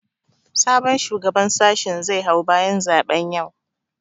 Sabon shugaban sashin zai hau bayan zaɓen yau